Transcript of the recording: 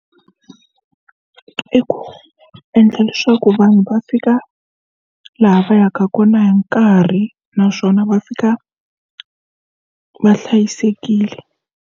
I ku endla leswaku vanhu va fika laha va yaka kona hi nkarhi naswona va fika va hlayisekile.